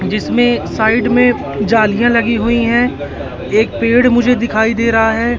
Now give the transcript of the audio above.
जिसमें साइड में जालियां लगी हुई है एक पेड़ मुझे दिखाई दे रहा है।